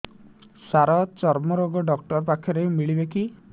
ସାର ଚର୍ମରୋଗ ଡକ୍ଟର ପାଖରେ ମିଳିବେ କି